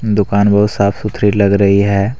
दुकान बहुत साफ सुथरी लग रही है।